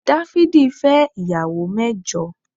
Dáfídì fẹ́ ìyàwó mẹ́jọ